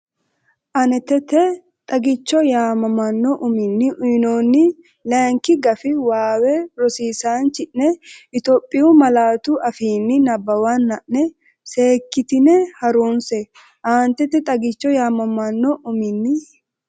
Aanetete “Xagicho” yaamamanno uminni uyinoonni layinki gafi waawe rosiisaanchi’ne Itophiyu malaatu afiinni nabbawanna’ne seek- kitine ha’runse Aanetete “Xagicho” yaamamanno uminni.